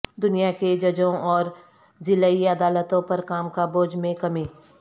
دنیا کے ججوں اور ضلعی عدالتوں پر کام کا بوجھ میں کمی